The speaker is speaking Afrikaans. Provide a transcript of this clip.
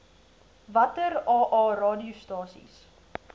watter aa radiostasies